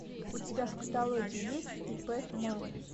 у тебя в каталоге есть ип ман